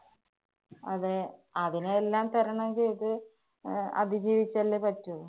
അതെ അതിനെയെല്ലാം തരണം ചെയ്ത് അഹ് അതിജീവിച്ചല്ലേ പറ്റൂ.